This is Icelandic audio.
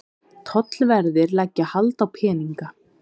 Tollverðir leggja hald á peninga